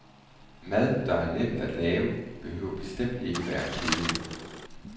Mad, der er nemt at lave, behøver bestemt ikke at være kedelig.